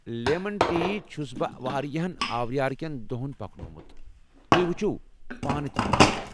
Lemon ٹی چھُس بہٕ واریاہن آورِیار كین دوہن پكنوومُت ،تُہۍ وُچھِو پانہٕ یہِ چٮ۪تھ ۔